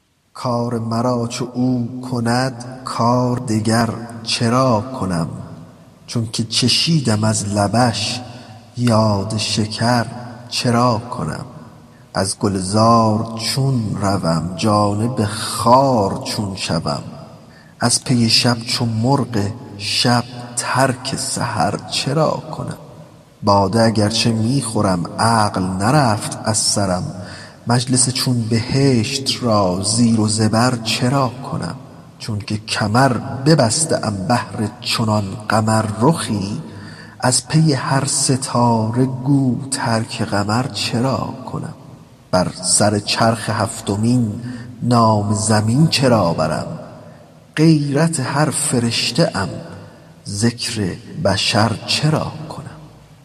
کار مرا چو او کند کار دگر چرا کنم چونک چشیدم از لبش یاد شکر چرا کنم از گلزار چون روم جانب خار چون شوم از پی شب چو مرغ شب ترک سحر چرا کنم باده اگر چه می خورم عقل نرفت از سرم مجلس چون بهشت را زیر و زبر چرا کنم چونک کمر ببسته ام بهر چنان قمررخی از پی هر ستاره گو ترک قمر چرا کنم بر سر چرخ هفتمین نام زمین چرا برم غیرت هر فرشته ام ذکر بشر چرا کنم